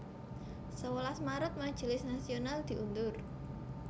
Sewelas Maret Majelis Nasional diundur